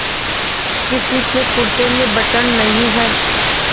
किसी के कुरते में बटन नहीं है